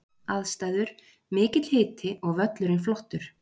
Aðstæður: Mikill hiti og völlurinn flottur.